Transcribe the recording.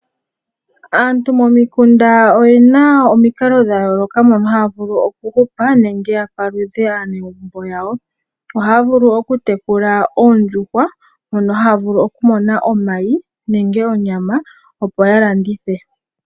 Aantu momikunda oyena omikalo dhayooloka moka haya vulu okuhupa nenge okupalutha aanegumbo yawo. Ohaya vulu okutekula oondjuhwa mono haya vulu okumona omayi nenge onyama opo yalandithe.